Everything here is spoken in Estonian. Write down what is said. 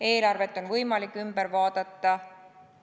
Eelarvet on võimalik uuesti läbi vaadata.